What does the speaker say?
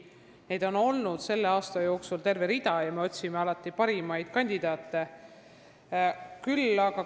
Neid konkursse on selle aasta jooksul ridamisi olnud ja me otsime alati parimaid kandidaate.